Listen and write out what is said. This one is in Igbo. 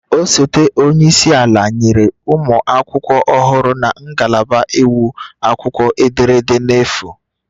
Osote onye isi ala nyere ụmụ akwụkwọ ọhụrụ na ngalaba iwu akwụkwọ ederede n'efu